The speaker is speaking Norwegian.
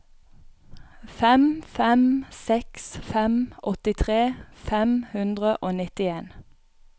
fem fem seks fem åttitre fem hundre og nittien